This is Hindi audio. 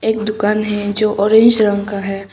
एक दुकान है जो ऑरेंज रंग का है।